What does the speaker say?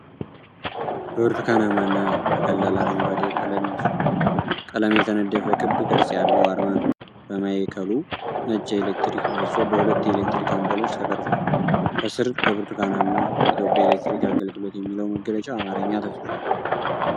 በብርቱካናማና በቀላል አረንጓዴ ቀለም የተነደፈ ክብ ቅርጽ ያለው አርማ ነው። በማዕከሉ ነጭ የኤሌክትሪክ ምሰሶ በሁለት የኤሌክትሪክ አምፖሎች ተቀርጿል። ከስር በብርቱካናማ "የኢትዮጵያ ኤሌክትሪክ አገልግሎት" የሚለው መገለጫ በአማርኛ ተጽፏል።